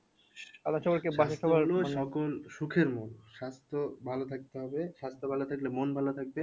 সকল সুখের মূল স্বাস্থ্য ভালো থাকতে হবে স্বাস্থ্য ভালো থাকলে মন ভালো থাকবে।